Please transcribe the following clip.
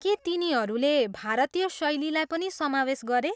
के तिनीहरूले भारतीय शैलीहरू पनि समावेश गरे?